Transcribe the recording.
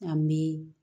An bɛ